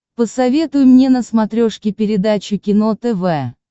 посоветуй мне на смотрешке передачу кино тв